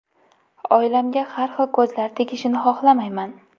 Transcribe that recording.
Oilamga har xil ko‘zlar tegishini xohlamayman.